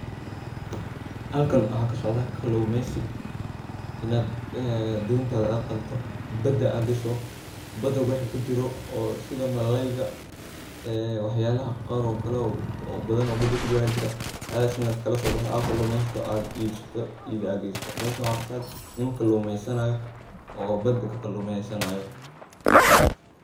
halkan waxaa kasocda kaluumeysi, inad ee dontaada qadato, bada ad gasho, bada waxa kujiro oosida malalyga ee wax yalaha qar oo kale oo badan oo bada kujiro aya jiraa, wax yalahaas inad kalaso baxdo od kalumeysato ad ibsato, ib ad geysato, meshan waxaa kasocda nin kaluumesanayo oo bada ka kaluumesanayo